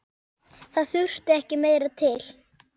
Það þurfti meira til.